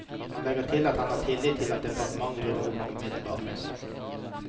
Han legger til at han har tillit til at departementet rydder opp umiddelbart.